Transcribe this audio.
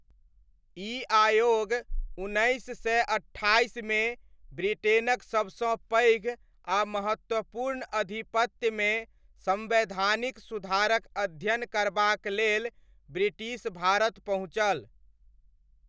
ई आयोग उन्नैस सय अट्ठाइसमे ब्रिटेनक सबसँ पैघ आ महत्वपूर्ण अधिपत्यमे सम्वैधानिक सुधारक अध्ययन करबाक लेल ब्रिटिश भारत पहुँचल।